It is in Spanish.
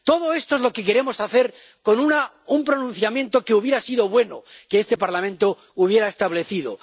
Todo esto es lo que queremos hacer con un pronunciamiento que hubiera sido bueno que este Parlamento hubiera establecido.